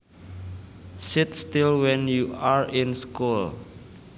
Sit still when you are in school